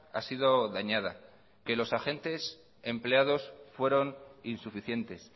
ha sido dañada que los agentes empleados fueron insuficientes